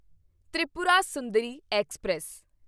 Tripura Sundari express